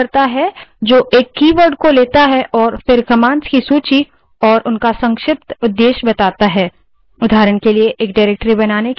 mank option प्रदान करता है जो एक कीवर्ड को लेता है और फिर commands की सूची और उनका संक्षिप्त उद्देश्य बताता है